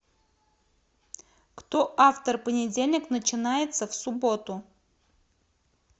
кто автор понедельник начинается в субботу